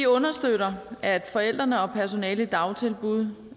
understøtter at forældrene og personalet i dagtilbud